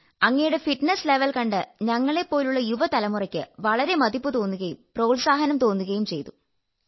അങ്ങയുടെ fitness level കണ്ട് ഞങ്ങളെപ്പോലുള്ള യുവതലമുറയ്ക്ക് വളരെ മതിപ്പു തോന്നുകയും പ്രോത്സാഹനം തോന്നുകയും ചെയ്തു